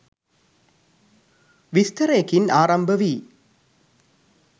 විස්තරයකින් ආරම්භ වී